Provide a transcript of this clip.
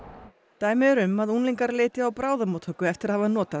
dæmi eru um að unglingar leiti á bráðamóttöku eftir að hafa notað